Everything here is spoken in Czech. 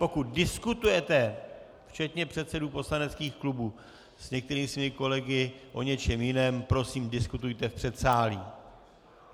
Pokud diskutujete, včetně předsedů poslaneckých klubů, s některými svými kolegy o něčem jiném, prosím, diskutujte v předsálí.